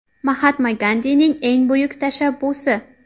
Mahatma Gandining eng buyuk tashabbusi.